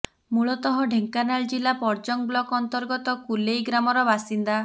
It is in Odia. ମୂଳତଃ ଢେଙ୍କାନାଳ ଜିଲ୍ଲା ପରଜଙ୍ଗ ବ୍ଲକ ଅନ୍ତର୍ଗତ କୁଲେଇ ଗ୍ରାମର ବାସିନ୍ଦା